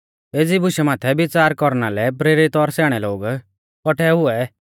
एज़ी बुशा माथै विच़ार कौरना लै प्रेरित और स्याणै लोग कौट्ठै हुऐ